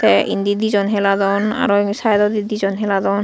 te enni dijon heladon auro saido di dijon heladon.